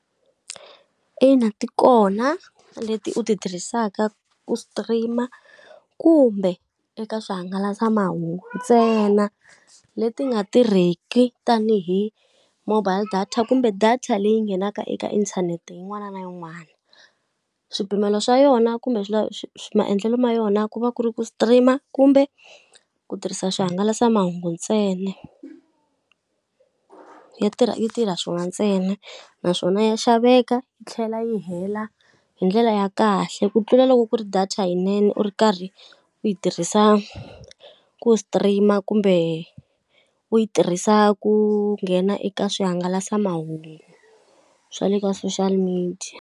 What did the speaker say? Ina ti kona leti u ti tirhisaka ku stream-a kumbe eka swihangalasamahungu, ntsena leti ti nga tirheki tanihi mobile data kumbe data leyi nghenaka eka inthanete yin'wana na yin'wana. Swipimelo swa yona kumbe swi maendlelo ma yona ku va ku ri ku stream-a kumbe ku tirhisa swihangalasamahungu ntsena, yi tirha yi tirha swona ntsena. Naswona ya xaveka yi tlhela yi hela hi ndlela ya kahle ku tlula loko ku ri data yinene u ri karhi u yi tirhisa ku stream-a kumbe u yi tirhisa ku nghena eka swihangalasamahungu swa le ka social media.